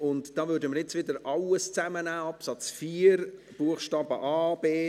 Hier nehmen wir jetzt wieder alles zusammen: Absatz 4 Buchstaben a